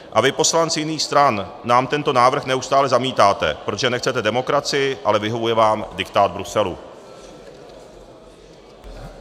A vy, poslanci jiných stran, nám tento návrh neustále zamítáte, protože nechcete demokracii, ale vyhovuje vám diktát Bruselu.